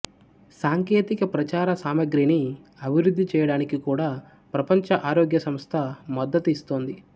సాంకేతిక ప్రచార సామగ్రిని అభివృద్ధి చేయడానికి కూడా ప్రపంచ ఆరోగ్య సంస్థ మద్దతు ఇస్తోంది